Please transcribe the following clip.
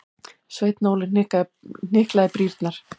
Sveinn Óli hnyklaði brýnnar.